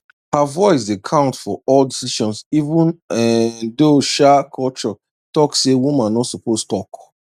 her voice dey count for all decision even um though um culture talk say woman no suppose talk